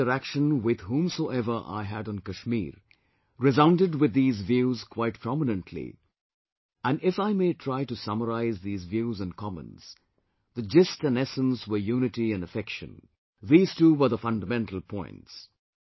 Whatever interaction with whomsoever I had on Kashmir resounded with these views quite prominently and if I may try to summarise these views and comments, the gist and essence were unity and affection; these two were the fundamental points